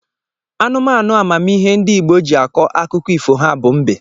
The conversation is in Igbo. Anụmanụ amamihe ndị Igbo ji akọ akụkọ ifo ha bụ mbe.